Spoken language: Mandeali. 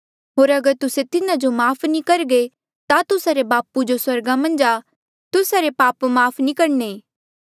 होर अगर तुस्से तिन्हा जो माफ़ नी करघे ता तुस्सा रे बापू जो स्वर्गा मन्झ आ तुस्सा रे पाप भी माफ़ नी करणे